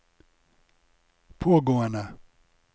pågående